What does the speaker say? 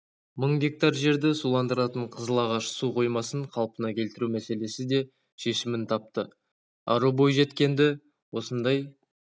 мың гектар жерді суландыратын қызылағаш су қоймасын қалпына келтіру мәселесі де шешімін тапты ару бойжеткенді осындай